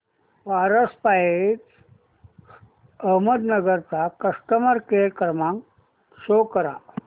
Paras pipes Ahmednagar चा customer care क्रमांक show करा